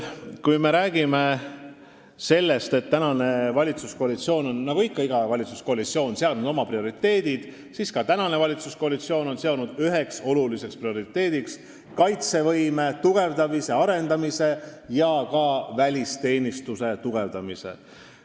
Kui me räägime sellest, et praegune valitsuskoalitsioon on nagu iga valitsuskoalitsioon seadnud oma prioriteedid, siis meie oleme tähtsaks pidanud kaitsevõime tugevdamist ja arendamist, samuti välisteenistuse tugevdamist.